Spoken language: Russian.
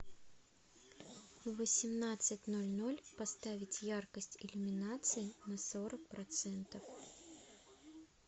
в восемнадцать ноль ноль поставить яркость иллюминации на сорок процентов